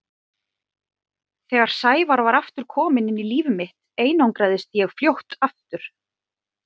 Þegar Sævar var aftur kominn inn í líf mitt einangraðist ég fljótt aftur.